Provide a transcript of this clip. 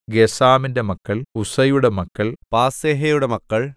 ഗസ്സാമിന്റെ മക്കൾ ഉസ്സയുടെ മക്കൾ പാസേഹയുടെ മക്കൾ